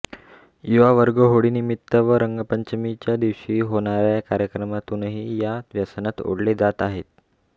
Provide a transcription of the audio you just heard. युवावर्ग होळीनिमित्त व रंगपंचमीदिवशी होणाऱया कार्यक्रमांतूनही या व्यसनात ओडले जात आहे